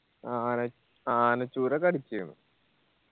ആന ആനച്ചൂരൊക്കെ അടിച്ചിണ്